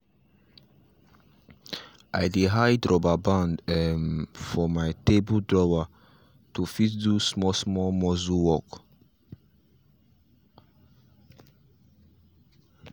i dey hide rubber band um for my table drawer to fit do small small muscle work